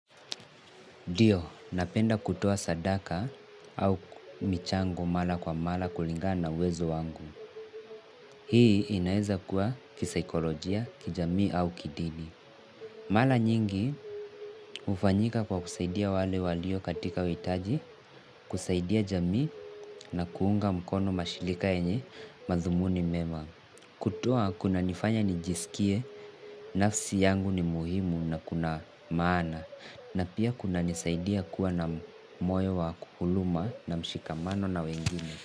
Ndio, napenda kutoa sadaka au michango mala kwa mala kulingana na uwezo wangu. Hii inaeza kuwa kisaikolojia, kijamii au kidini. Mala nyingi hufanyika kwa kusaidia wale walio katika uhitaji, kusaidia jamii na kuunga mkono mashilika yenye madhumuni mema. Kutoa kunanifanya nijisikie, nafsi yangu ni muhimu na kuna maana. Na pia kunanisaidia kuwa na moyo wa kukuluma na mshikamano na wengine.